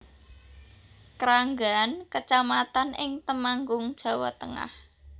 Kranggan kecamatan ing Temanggung Jawa Tengah